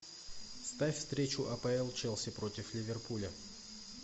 ставь встречу апл челси против ливерпуля